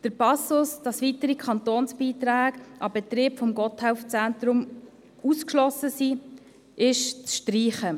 «Der Passus», dass weitere Kantonsbeiträge an den Betrieb des Gotthelf-Zentrums ausgeschlossen sind, ist «zu streichen».